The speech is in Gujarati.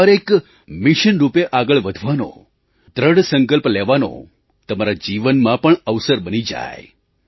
આ તહેવાર એક મિશન રૂપે આગળ વધવાનો દૃઢ સંકલ્પ લેવાનો તમારા જીવનમાં પણ અવસર બની જાય